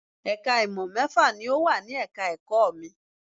Ẹ̀ka ìmọ̀ mẹ́fà ni ò wà ní ẹ̀ka ẹ̀kọ́ mi